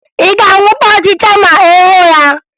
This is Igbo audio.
Ị ga-anwụta ọchịcha ma ị hụ ya?